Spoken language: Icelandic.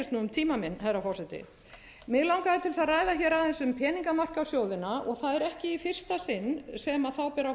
tíma minn herra forseti mig langaði til að ræða aðeins um peningamarkaðssjóðina og það er ekki í fyrsta sinn sem þá ber